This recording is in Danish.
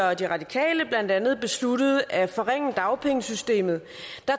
og de radikale blandt andet besluttede at forringe dagpengesystemet